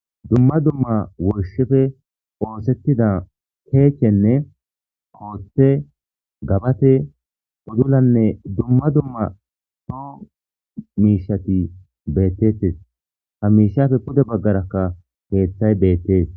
dumma dumma woyishefe oosettida keechchenne kooththe gabate udulanne dumma dumma soo miishati beettettes ha miishafe pude baggarakka keeththay beettees